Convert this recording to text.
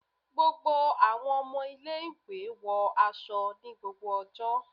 Gbogbo àwọn ọmọ ilé-ìwé wọ aṣọ ni gbogbo ọjọ́